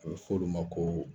A be fɔ olu ma ko